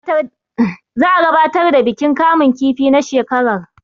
za a gabatar da bikin kamun kifi na shekar